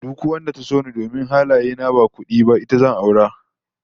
Duk wadda ta so ni domin halaye na ba kudi ba, ita zan aura